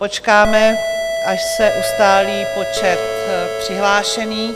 Počkáme, až se ustálí počet přihlášených.